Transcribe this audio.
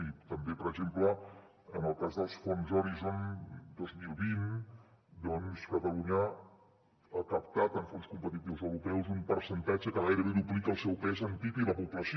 i també per exemple en el cas dels fons horizon dos mil vint doncs catalunya ha captat en fons competitius europeus un percentatge que gairebé duplica el seu pes en pib i la població